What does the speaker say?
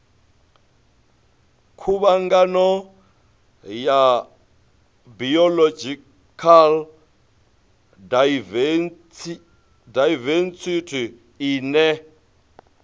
khuvhangano ya biological daivesithi ine